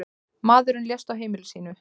Maðurinn lést á heimili sínu.